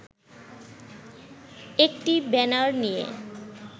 একটি ব্যানার নিয়ে